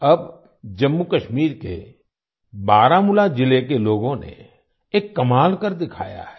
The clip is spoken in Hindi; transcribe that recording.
अब जम्मूकश्मीर के बारामूला जिले के लोगों ने एक कमाल कर दिखाया है